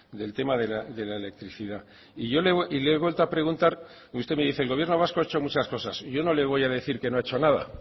del tema de la electricidad y yo le he vuelto a preguntar y usted me dice el gobierno vasco ha hecho muchas cosas yo no le voy a decir que no ha hecho nada